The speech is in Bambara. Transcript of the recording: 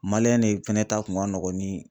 de fɛnɛ ta kun ka nɔgɔn ni